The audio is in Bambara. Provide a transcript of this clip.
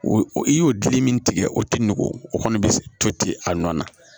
O i y'o dili min tigɛ o tɛ nugu o kɔni bɛ to ten a nɔ na